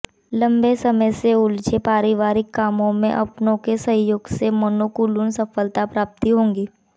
लम्बे समय से उलझे पारिवारिक कामों में अपनों के सहयोग से मनोनुकूल सफलता प्राप्ति होगी